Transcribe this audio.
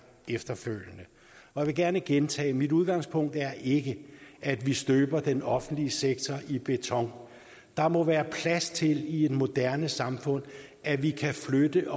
efterfølgende jeg vil gerne gentage det mit udgangspunkt er ikke at vi støber den offentlige sektor i beton der må være plads til i et moderne samfund at vi kan flytte